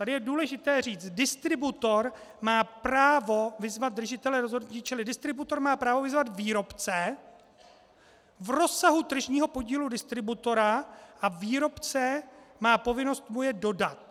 Tady je důležité říct, distributor má právo vyzvat držitele rozhodnutí, čili distributor má právo vyzvat výrobce v rozsahu tržního podílu distributora a výrobce má povinnost mu je dodat.